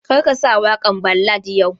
Kar ka sa waƙan ballad yau!